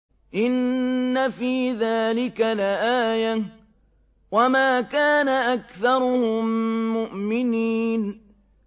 إِنَّ فِي ذَٰلِكَ لَآيَةً ۖ وَمَا كَانَ أَكْثَرُهُم مُّؤْمِنِينَ